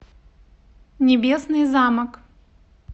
небесный замок